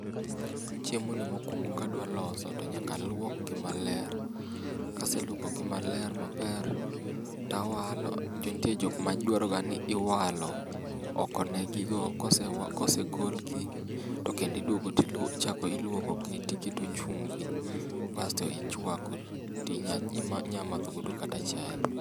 Chiemo ni mokwong'o kadwa loso to nyaka aluokgi maler kaseluokogi maler maber tawalo nitie jokma dwaro ni iwalo okonegigo kose kosegolgi to kendo idwogo ti lwo ichako lwoko gi tiketo chumvi ti chwako ti nyamadhgo kata chae.